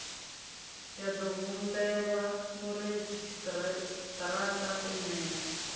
ḓo humbelwa muredzhisitarara u nṋea